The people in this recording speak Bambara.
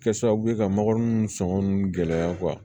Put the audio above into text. Kɛ sababu ye ka makɔrɔni nunnu sɔngɔ nun gɛlɛya